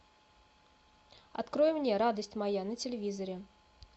открой мне радость моя на телевизоре